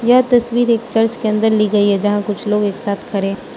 यह तस्वीर एक चर्च के अंदर ली गई है जहां कुछ लोग एक साथ खड़े --